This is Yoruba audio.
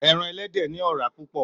Èràn èlèdè ni òràá púpò